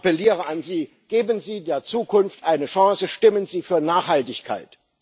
Ich appelliere an Sie Geben Sie der Zukunft eine Chance, stimmen Sie für Nachhaltigkeit!